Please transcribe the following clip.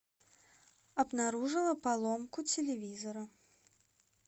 обнаружила поломку телевизора